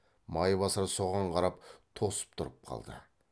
майбасар соған қарап тосып тұрып қалды